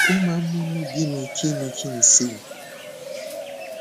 ó máa ń múnú bíni kí ni kí n ṣe